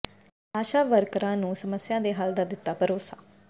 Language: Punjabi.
ਆਸ਼ਾ ਵਰਕਰਾਂ ਨੂੰ ਸਮੱਸਿਆਵਾਂ ਦੇ ਹੱਲ ਦਾ ਦਿੱਤਾ ਭਰੋਸਾ